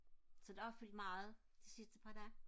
så det har fyldt meget de sidste par dage